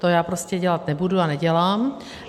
To já prostě dělat nebudu a nedělám.